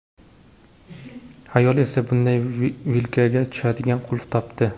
Ayol esa bunday vilkaga tushadigan qulf topdi.